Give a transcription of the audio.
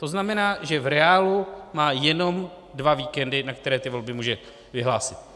To znamená, že v reálu má jenom dva víkendy, na které ty volby může vyhlásit.